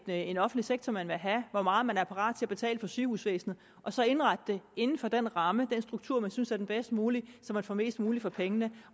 en offentlig sektor man vil have hvor meget man er parat til at betale for sygehusvæsenet og så indrette det inden for den ramme den struktur man synes er den bedst mulige så man får mest muligt for pengene